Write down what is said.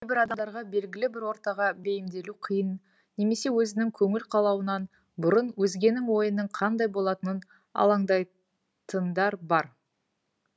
кейбір адамдарға белгілі бір ортаға бейімделу қиын немесе өзінің көңіл қалауынан бұрын өзгенің ойының қандай болатының алаңдайтындар бар